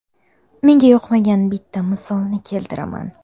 Menga yoqmagan bitta misolni keltiraman.